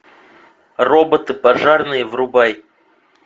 роботы пожарные врубай